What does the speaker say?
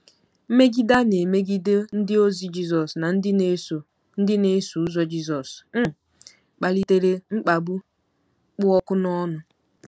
Mmegide a na-emegide ndịozi Jizọs na ndị na-eso ndị na-eso ụzọ Jizọs um kpalitere mkpagbu kpụ ọkụ n’ọnụ.